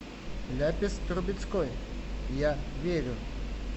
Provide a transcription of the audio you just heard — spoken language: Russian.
ляпис трубецкой я верю